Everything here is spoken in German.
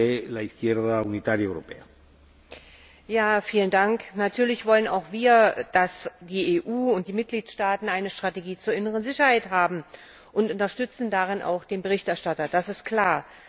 Herr Präsident! Natürlich wollen auch wir, dass die EU und die Mitgliedstaaten eine Strategie zur inneren Sicherheit haben und unterstützten darin auch den Berichterstatter das ist klar.